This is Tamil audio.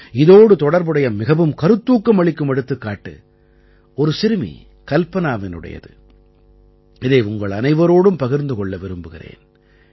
இதோடு தொடர்புடைய மிகவும் கருத்தூக்கம் அளிக்கும் எடுத்துக்காட்டு ஒரு சிறுமி கல்பனாவினுடையது இதை உங்கள் அனைவரோடும் பகிர்ந்து கொள்ள விரும்புகிறேன்